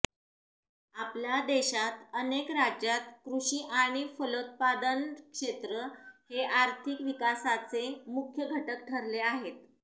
आपल्या देशात अनेक राज्यात कृषी आणि फलोत्पादन क्षेत्र हे आर्थिक विकासाचे मुख्य घटक ठरले आहेत